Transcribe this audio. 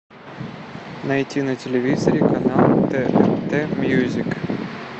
найти на телевизоре канал тнт мьюзик